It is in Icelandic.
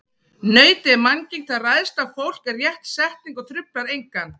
Nautið er mannýgt, það ræðst á fólk er rétt setning og truflar engan.